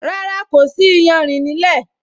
Rárá, kò sí iyanrìn nílẹ́